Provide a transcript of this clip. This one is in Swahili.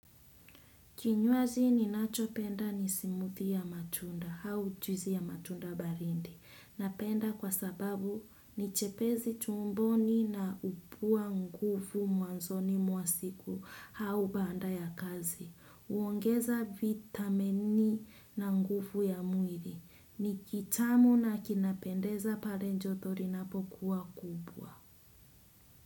Kinywaji ninacho penda ni smothie ya matunda au juisi ya matunda baridi. Napenda kwa sababu ni jepezi tumboni na hupua nguvu mwanzoni mwa siku au baada ya kazi. Hongeza vitamini na nguvu ya mwili. Ni kitamu na kinapendeza pale joto linapokuwa kubwa.